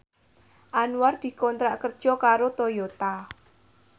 Anwar dikontrak kerja karo Toyota